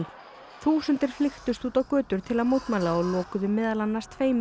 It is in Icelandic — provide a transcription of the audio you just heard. þúsundir flykktust út á götur til að mótmæla og lokuðu meðal annars tveimur